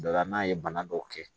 Dɔ la n'a ye bana dɔw kɛ